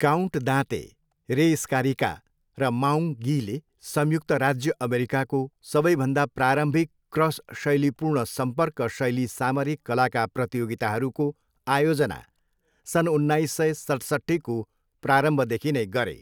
Count दाँते, Ray Scarica र Maung गीले संयुक्त राज्य अमेरिकाको सबैभन्दा प्रारम्भिक क्रस शैली पूर्ण सम्पर्क शैली सामरिक कलाका प्रतियोगिताहरूको आयोजना सन् उन्नाइस सय सतसट्ठीको प्रारम्भदेखि नै गरे।